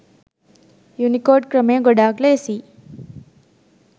Unicode ක්‍රමය ගොඩාක් ලේසියි.